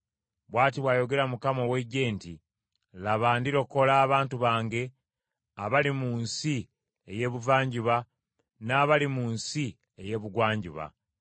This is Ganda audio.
Bw’ati bw’ayogera Mukama ow’Eggye nti, “Laba ndirokola abantu bange abali mu nsi ey’Ebuvanjuba n’abali mu nsi ey’Ebugwanjuba: